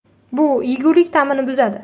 Bu yegulik ta’mini buzadi.